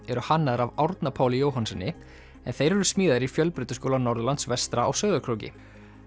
eru hannaðir af Árna Páli Jóhannssyni en þeir eru smíðaðir í Fjölbrautaskóla Norðurlands vestra á Sauðárkróki